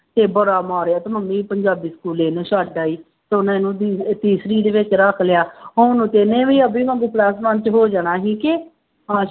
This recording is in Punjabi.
ਤੇ ਬੜਾ ਮਾਰਿਆ ਤੇ ਮੰਮੀ ਪੰਜਾਬੀ ਸਕੂਲੇ ਇਹਨੂੰ ਛੱਡ ਆਈ ਤੇ ਉਹਨੇ ਇਹਨੂੰ ਤੀ ਤੀਸਰੀ ਦੇ ਵਿੱਚ ਰੱਖ ਲਿਆ, ਹੁਣ ਨੂੰ ਤੇ ਇਹਨੇ ਵੀ ਅਬੀ ਵਾਂਗੂ plus-one ਚ ਹੋ ਜਾਣਾ ਸੀ ਕਿ ਆਸ